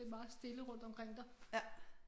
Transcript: Det meget stille rundtomkring dig